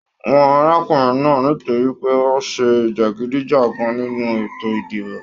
Wọn arákùnrin náà nítorí pé ó ṣe jagidijagan nínú ètò ìdìbò.